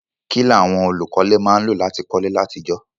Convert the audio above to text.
Kílàwon olùkọ́lé má n lò láti kólé látijọ́